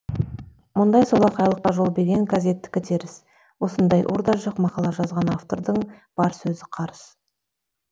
мұндай солақайлыққа жол берген газеттікі теріс осындай ұр да жық мақала жазған автордың бар сөзі қарыс